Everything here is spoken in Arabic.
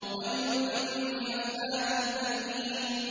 وَيْلٌ لِّكُلِّ أَفَّاكٍ أَثِيمٍ